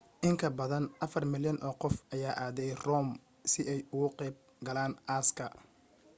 in ka badan afar milyan oo qof ayaa aaday rome si ay uga qayb galaan aaska